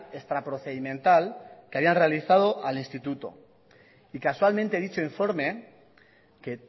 extraprocedimental que habían realizado al instituto y casualmente dicho informe que